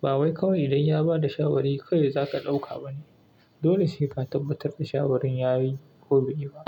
Ba wai kawai dai ya ba da shawari ka dai za ka ɗauka ba ne. Dole sai ka tabbatar da shawarar ya yi ko bai yi ba.